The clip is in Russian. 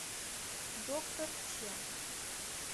докторъ ч